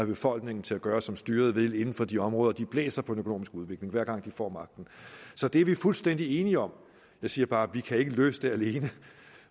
befolkningen til at gøre som styret vil inden for de områder de blæser på den økonomiske udvikling hver gang de får magten så det er vi fuldstændig enige om jeg siger bare vi kan ikke løse det alene